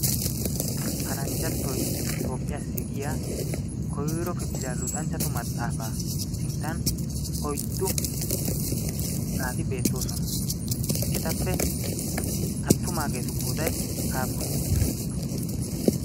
Paranjjattoy toophphiyaasi giya koyro kifiliyaa luxanchchatu maxaafaa sinttan oyddu naati beettoosona. Etappe attumaageetu qooday appunee?